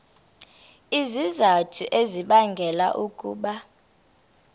izizathu ezibangela ukuba